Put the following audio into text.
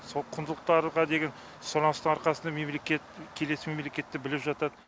сол құндылықтарға деген сұраныстың арқасында мемлекет келесі мемлекетті біліп жатады